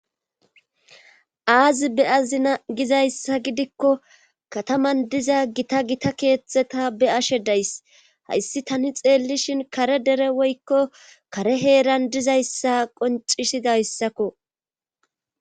Aazi be azina gizayssa gidikko kataman diza gita gita keethetheta be ashe days hayssi tani xeellishin kare dere woykko kare heeran dizayssa qoncisidayssakko.